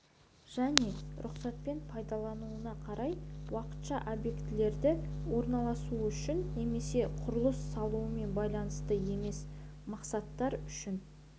және рұқсатпен пайдаланылуына қарай уақытша объектілерді орналастыру үшін немесе құрылыс салумен байланысты емес мақсаттар үшін